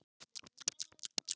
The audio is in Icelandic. Takk fyrir þetta Svava.